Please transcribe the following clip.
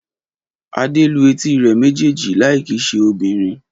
Adé lu etí rẹ̀ méjèèjì láì kì í ṣe obìnrin